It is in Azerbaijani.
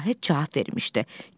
Vahid cavab vermişdi: